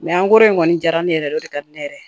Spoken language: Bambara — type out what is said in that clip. an ko in kɔni jara ne yɛrɛ o de ka di ne ye yɛrɛ